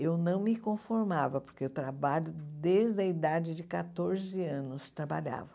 Eu não me conformava, porque eu trabalho desde a idade de quatorze anos, trabalhava.